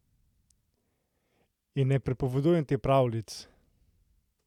In ne pripovedujem ti pravljic!